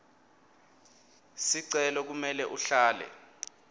sicelo kumele uhlale